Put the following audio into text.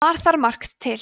bar þar margt til